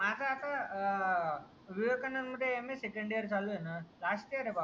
माझा आता विवेकानंद मध्ये MA सेकंड ईयर चाललाय ना लास्ट ईयर आहे भावा.